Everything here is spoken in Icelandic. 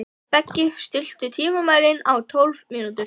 Beggi, stilltu tímamælinn á tólf mínútur.